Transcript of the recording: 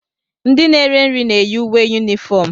Ndị na ere nri na-eyi uwe unifom.